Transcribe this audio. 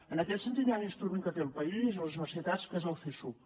en aquest sentit hi ha un instrument que té el país o les universitats que és el csuc